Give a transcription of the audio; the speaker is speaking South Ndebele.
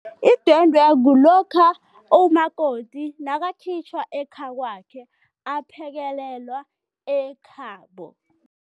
Idwendwe kulokha umakoti nakakhitjhwa ekhakwakhe aphekelelwa ekhabo.